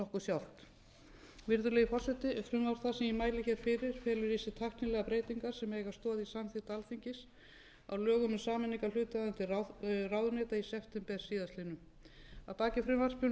sjálft virðulegi forseti frumvarp það sem ég mæli hér fyrir felur í sér tæknilegar breytingar sem eiga stoð í samþykkt alþingis á lögum um sameiningarhluta viðkomandi ráðuneyta í september síðastliðinn að baki frumvarpinu